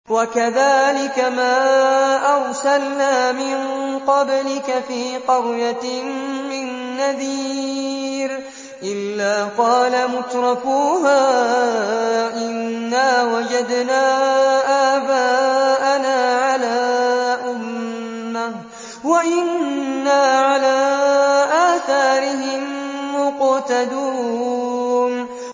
وَكَذَٰلِكَ مَا أَرْسَلْنَا مِن قَبْلِكَ فِي قَرْيَةٍ مِّن نَّذِيرٍ إِلَّا قَالَ مُتْرَفُوهَا إِنَّا وَجَدْنَا آبَاءَنَا عَلَىٰ أُمَّةٍ وَإِنَّا عَلَىٰ آثَارِهِم مُّقْتَدُونَ